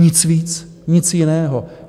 Nic víc, nic jiného.